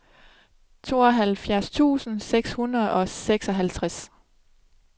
tooghalvfjerds tusind seks hundrede og seksoghalvtreds